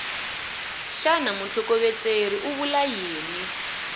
xana mutlhokovetseri u vula yini